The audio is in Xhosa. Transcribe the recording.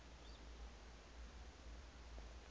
asi okanye u